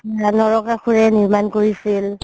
নৰকাসুৰেই নিৰ্মাণ কৰিছিল